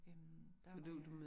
Øh der var jeg